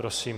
Prosím.